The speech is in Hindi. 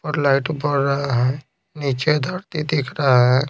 लाइट बर रहा है नीचे धरती दिख रहा है।